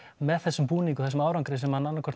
með þessum búning og þessum árangri sem að annað hvort